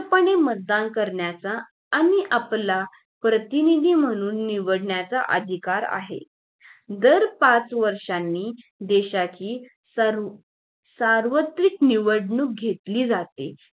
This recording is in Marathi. मुक्तपने मतदान करण्याचा आणि आपला प्रतिनिधी म्हणून निवडण्याचा अधिकार आहे दार पाच वर्षाने देशाची सर्व सार्वत्रिक निवडणूक घेतली जाते